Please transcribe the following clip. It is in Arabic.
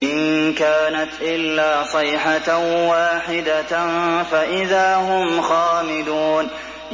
إِن كَانَتْ إِلَّا صَيْحَةً وَاحِدَةً فَإِذَا هُمْ خَامِدُونَ